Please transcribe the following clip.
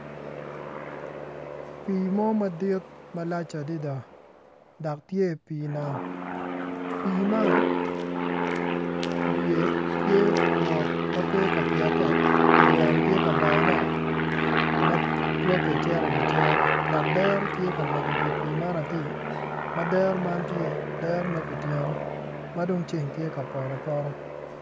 Pi mo madit malac adada dok tye i pi nam pi man wiye tye mot ma pe ka piete nyo yamo tye ka bayone matwake cito i wi cerre dok dero tye ka menyo wi pi man atir ma dero man tye dero ma kutyeno madong ceng tye ka poto apota.